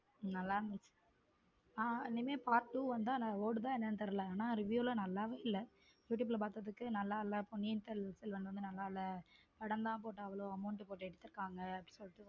நல்லா இருந்துச்ச ஹம் இனிமேல் part two வந்தா ஓடுதா என்னன்னு தெரியல ஆனா review லாம் நல்லாவே இல்ல youtube ல பார்த்ததுக்கு நல்லா இல்ல பொன்னியின் செல்வன் வந்து நல்லா இல்ல படம் தான் அவ்வளவு amount போட்டு எடுத்து இருக்காங்க சொல்லிட்டு.